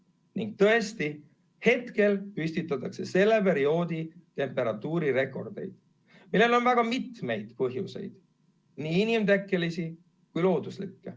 Ning tõesti, praegu püstitatakse selle perioodi temperatuurirekordeid, millel on väga mitu põhjust – nii inimtekkelisi kui looduslikke.